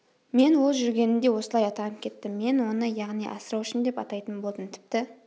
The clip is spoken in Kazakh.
мен ол жүргенімде осылай атанып кеттім мен оны яғни асыраушым деп атайтын болдым тіпті